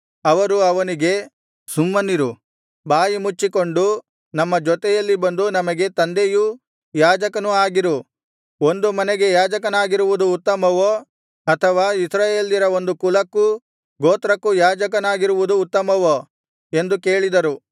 ಅವರು ಅವನಿಗೆ ಸುಮ್ಮನಿರು ಬಾಯಿ ಮುಚ್ಚಿಕೊಂಡು ನಮ್ಮ ಜೊತೆಯಲ್ಲಿ ಬಂದು ನಮಗೆ ತಂದೆಯೂ ಯಾಜಕನೂ ಆಗಿರು ಒಂದು ಮನೆಗೆ ಯಾಜಕನಾಗಿರುವುದು ಉತ್ತಮವೋ ಅಥವಾ ಇಸ್ರಾಯೇಲ್ಯರ ಒಂದು ಕುಲಕ್ಕೂ ಗೋತ್ರಕ್ಕೂ ಯಾಜಕನಾಗಿರುವುದು ಉತ್ತಮವೋ ಎಂದು ಕೇಳಿದರು